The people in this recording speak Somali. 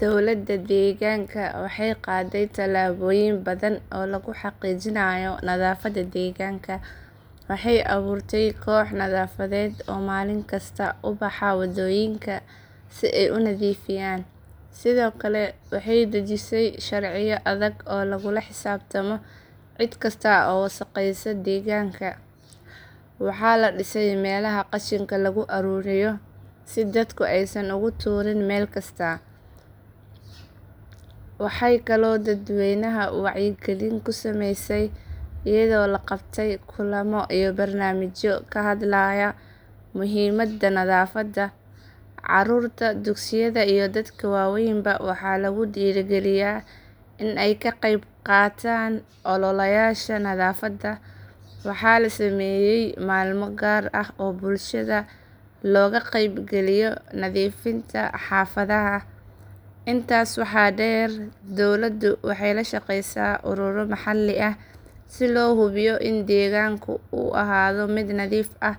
Dawlada deegaanka waxay qaaday talaabooyin badan oo lagu xaqiijinayo nadaafada deegaanka. Waxay abuurtay kooxo nadaafadeed oo maalin kasta u baxa wadooyinka si ay u nadiifiyaan. Sidoo kale, waxay dejisay sharciyo adag oo lagula xisaabtamo cid kasta oo wasakheysa deegaanka. Waxaa la dhisay meelaha qashinka lagu ururiyo si dadku aysan ugu tuurin meel kasta. Waxay kaloo dadweynaha wacyigelin ku samaysay iyadoo la qabtay kulamo iyo barnaamijyo ka hadlaya muhiimadda nadaafada. Caruurta dugsiyada iyo dadka waaweynba waxaa lagu dhiirigeliyay in ay ka qeybqaataan ololayaasha nadaafada. Waxaa la sameeyay maalmo gaar ah oo bulshada looga qaybgeliyo nadiifinta xaafadaha. Intaas waxaa dheer, dawladu waxay la shaqeysaa ururo maxalli ah si loo hubiyo in deegaanka uu ahaado mid nadiif ah